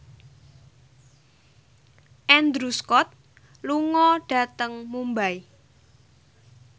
Andrew Scott lunga dhateng Mumbai